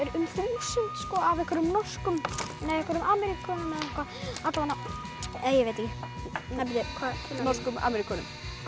um þúsund af einhverjum norskum nei einhverjum Ameríkönum eða eitthvað ég veit ekki norskum Ameríkönum